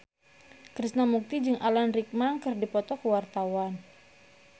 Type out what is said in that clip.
Krishna Mukti jeung Alan Rickman keur dipoto ku wartawan